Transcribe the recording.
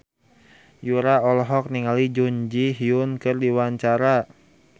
Yura olohok ningali Jun Ji Hyun keur diwawancara